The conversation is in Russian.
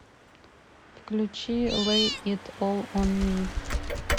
включи лэй ит ол он ми